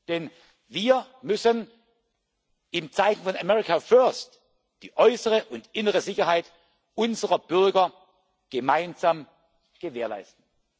Denn wir müssen in Zeiten von America First die äußere und innere Sicherheit unserer Bürger gemeinsam gewährleisten.